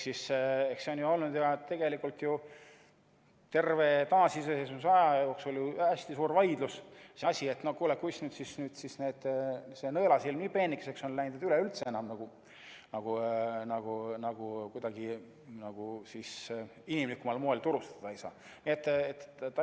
See on olnud ju tegelikult terve taasiseseisvusaja jooksul hästi suur vaidlus, kuis see nõelasilm nii peenikeseks on läinud, et üleüldse enam kuidagi inimlikumal moel turustada ei saa.